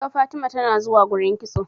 naga Fatima tanazuwa gurin kitso